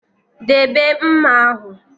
Debe mma ahụ!